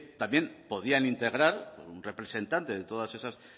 también podían integrar un representante de todas esas